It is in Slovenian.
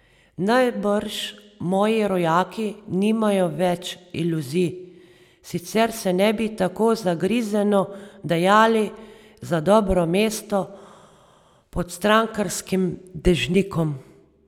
Najbrž moji rojaki nimajo več iluzij, sicer se ne bi tako zagrizeno dajali za dobro mesto pod strankarskim dežnikom.